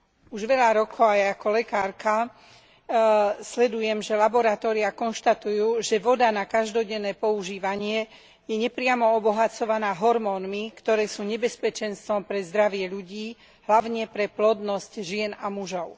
Už veľa rokov aj ako lekárka sledujem, že laboratóriá konštatujú, že voda na každodenné používanie je nepriamo obohacovaná hormónmi, ktoré sú nebezpečenstvom pre zdravie ľudí, hlavne pre plodnosť žien a mužov.